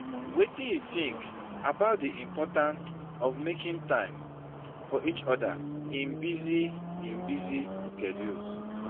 Wetin you think about di importance of making time for each oda in busy in busy schedules?